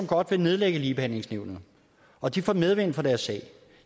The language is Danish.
godt vil nedlægge ligebehandlingsnævnet og de får medvind for deres sag